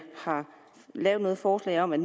noget forslag om at